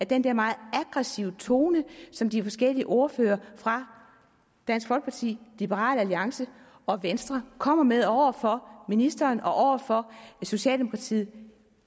den der meget aggressive tone som de forskellige ordførere fra dansk folkeparti liberal alliance og venstre kommer med over for ministeren og over for socialdemokratiet